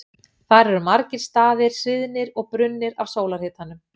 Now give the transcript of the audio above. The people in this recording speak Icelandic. Þar eru margir staðir sviðnir og brunnir af sólarhitanum.